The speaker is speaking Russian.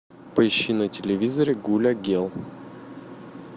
поищи на телевизоре гуля гел